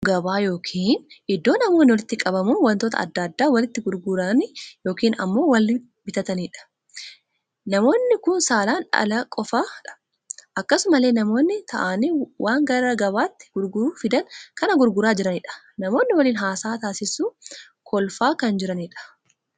Namoonni kun gabaa ykn iddoo namoonni walitti qabamuun wantoota addaa addaa walitti gurguranii ykn ammoo wal bitaniidha. namoo kun saalaan dhalaa qofaadha. akkasumallee namoonni taa'aanii waan gara gabaatti gurguruu fidan kan gurgura jiraniidha. namoonni waliin haasaa taasisuu kolfaa kan jiraniidha.